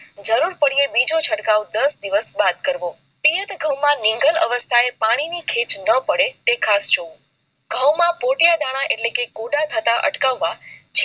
જરૂર પડે તો બીજો ચટકાવ કરવો દાસ દિવસ બાદ કરવો તેજ ઘઉં માં નિંદર અવસ્થામાં આ પાણી ની ખેંચ ના પડે તે ખાસ જોઉં ઘઉં માં પોતિયાં દાન એટલે કે ગોટા થતા અટકાવ વા